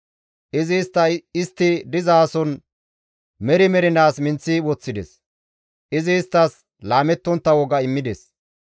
Izi istta istti dizason meri mernaas minththi woththides; Izi isttas laamettontta woga immides.